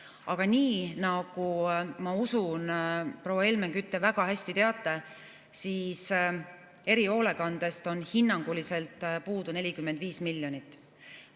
Aga nii, nagu ma usun, proua Helmen Kütt, te väga hästi teate, erihoolekandest on hinnanguliselt puudu 45 miljonit.